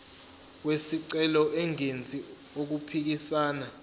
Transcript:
wesicelo engenzi okuphikisana